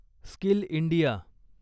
skill India